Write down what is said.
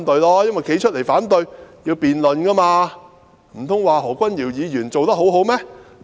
站出來反對便要辯論，到時候，難道他們說何君堯議員做得很好嗎？